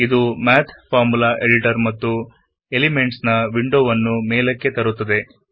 ಇದು ನಮ್ಮನ್ನು math formula editor ಮತ್ತು ಎಲಿಮೆಂಟ್ಸ್ ನ ವಿಂಡೋಗೆ ಕರೆದೊಯ್ಯುತ್ತದೆ